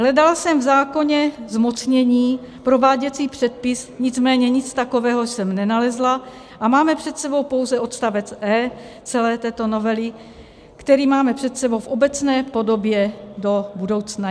Hledala jsem v zákoně zmocnění, prováděcí předpis, nicméně nic takového jsem nenalezla a máme před sebou pouze odstavec e) celé této novely, který máme před sebou v obecné podobě do budoucna.